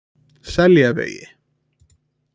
Seljavegi